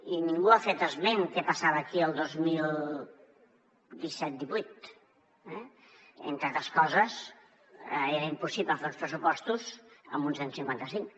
i ningú ha fet esment què passava aquí el dos mil disset divuit eh entre altres coses era impossible fer uns pressupostos amb un cent i cinquanta cinc